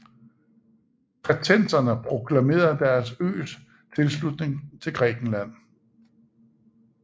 Kretenserne proklamerede deres øs tilslutning til Grækenland